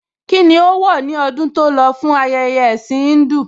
Kíni ó wọ̀ ní ọdún tó lọ fún ayẹyẹ ẹ̀ẹ̀sìn Híńdù?